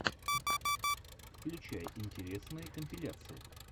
включай интересные компиляции